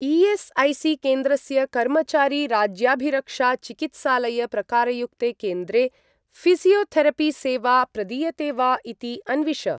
ई.एस्.ऐ.सी.केन्द्रस्य कर्मचारी राज्याभिरक्षा चिकित्सालय प्रकारयुक्ते केन्द्रे ऴिसियोथेरपि सेवा प्रदीयते वा इति अन्विष।